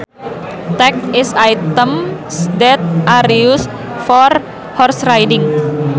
Tack is items that are used for horse riding